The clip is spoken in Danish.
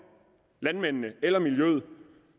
landmændene eller miljøet